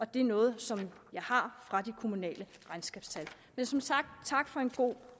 det er noget som jeg har fra de kommunale regnskabstal men som sagt tak for en god